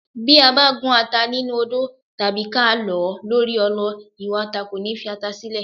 Bí a bá gún ata nínú odó tàbí ká lọ̀ ọ́ lórí ọlọ ìwà ata kò ní fi ata sílẹ̀.